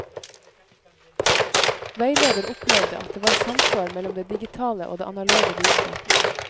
Veileder opplevde at det var samsvar mellom det digitale og det analoge budskapet.